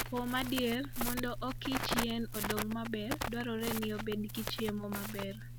Kuom adier, mondo okichmb yien odong maber, dwarore ni obed gi chiemo maber.